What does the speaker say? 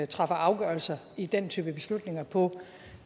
træffer afgørelser i den type beslutninger på